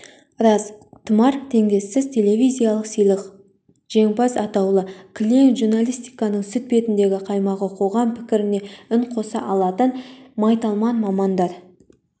рас тұмар теңдессіз телевизиялық сыйлық жеңімпаз атаулы кілең журналистиканың сүт бетіндегі қаймағы қоғам пікіріне үн қоса алатын майталман мамандар